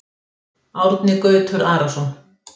Árni Gautur Arason